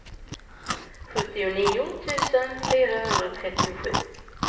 sjuttionio tusen fyrahundratrettiosju